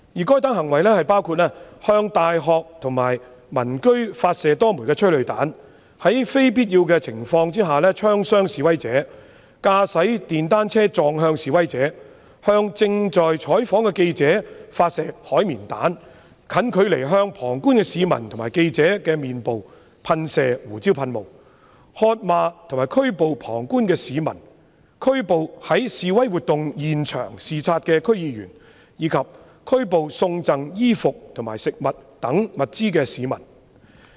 該等行為包括：向大學及民居發射多枚催淚彈、在非必要情況下槍傷示威者、駕駛電單車撞向示威者、向正在採訪的記者發射海綿彈、近距離向旁觀市民和記者的臉部噴射胡椒噴霧、喝罵和拘捕旁觀市民、拘捕在示威活動現場視察的區議員，以及拘捕送贈衣服和食物等物資的市民。